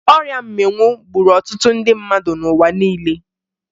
Ọrịa mmịnwụ gburu ọtụtụ ndị mmadụ n'ụwa niile